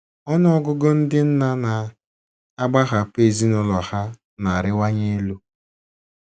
Ọnụ ọgụgụ ndị nna na - agbahapụ ezinụlọ ha na - arịwanye elu.